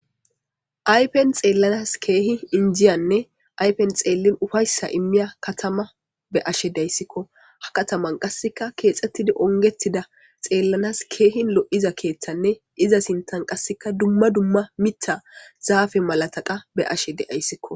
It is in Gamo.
Aypen xeellanas keehi injiyanne aypen xeellin ufayssa immiya katama be ashe dayssikko ha kataman qasseka keexettidi ongetida xeellanas keehi lo7iza keeththanne iza sintan qasseka dumma dumma mita zaafe malataqa be ashe deayssikko.